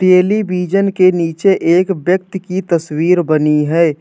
Television के नीचे एक व्यक्ति की तस्वीर बनी है।